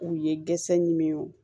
U ye dɛsɛ ɲini